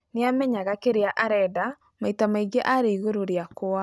Nĩamenyaga kĩrĩa arenda maita maingi ari igũrũ riakwa.